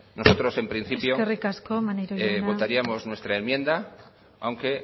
nosotros en principio votaríamos eskerrik asko maneiro jauna nuestra enmienda aunque